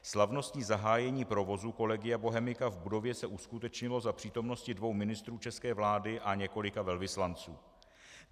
Slavnostní zahájení provozu Collegia Bohemica v budově se uskutečnilo za přítomnosti dvou ministrů české vlády a několika velvyslanců.